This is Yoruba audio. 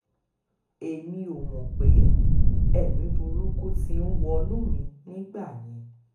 èmi ò mọ̀ pé ẹ̀mí burúkú ti ń wọnú mi nígbà yẹn